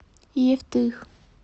евтых